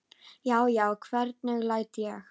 Já, já, hvernig læt ég!